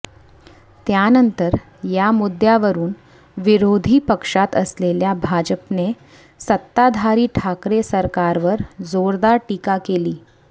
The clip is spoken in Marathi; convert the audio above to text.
त्यानंतर या मुद्यावरुन विरोधी पक्षात असलेल्या भाजपने सत्ताधारी ठाकरे सरकारवर जोरदार टीका केली